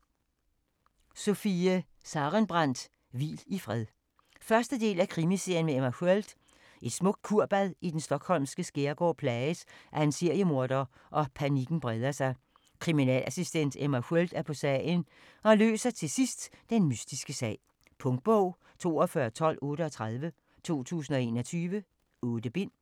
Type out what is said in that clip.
Sarenbrant, Sofie: Hvil i fred 1. del af Krimiserien med Emma Sköld. Et smukt kurbad i den Stockholmske skærgård plages af en seriemorder, og panikken breder sig. Kriminalassistent Emma Sköld er på sagen, og løser til sidst den mystiske sag. Punktbog 421238 2021. 8 bind.